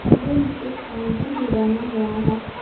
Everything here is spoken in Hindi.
कमरे में एक काउंटर भी बना हुआ है।